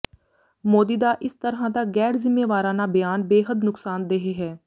ਮੋਦੀ ਦਾ ਇਸ ਤਰ੍ਹਾਂ ਦਾ ਗੈਰ ਜ਼ਿੰਮੇਵਾਰਾਨਾ ਬਿਆਨ ਬੇਹੱਦ ਨੁਕਸਾਨਦੇਹ ਹੈ